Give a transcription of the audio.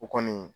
O kɔni